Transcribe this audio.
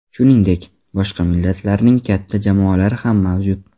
Shuningdek, boshqa millatlarning katta jamoalari ham mavjud.